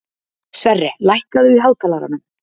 Sverre, lækkaðu í hátalaranum.